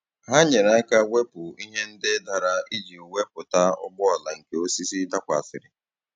Ha nyere aka wepụ ihe ndị dara iji wepụta ụgbọala nke osisi dakwasịrị.